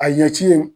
A ye ci ye